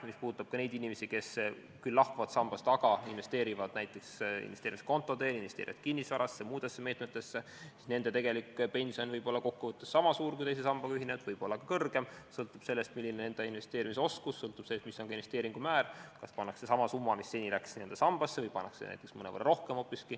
Mis puudutab neid inimesi, kes küll loobuvad teisest sambast, aga investeerivad näiteks investeerimiskonto teel, kinnisvarasse või muudesse meetmetesse, siis nende pension võib olla kokkuvõttes niisama suur kui teise sambaga liitunutel, võib-olla ka kõrgem, sõltub sellest, milline on inimese investeerimisoskus, ja sellest, milline on investeeringu määr, kas investeeritakse sama summa, mis seni läks sambasse, või investeeritakse näiteks mõnevõrra rohkem.